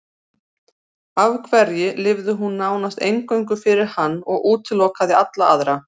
Af hverju lifði hún nánast eingöngu fyrir hann og útilokaði alla aðra?